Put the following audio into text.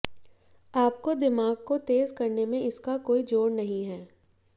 आपको दिमाग को तेज करने में इसका कोई जोड़ नहीं है